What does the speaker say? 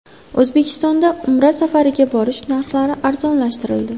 O‘zbekistonda Umra safariga borish narxlari arzonlashtirildi.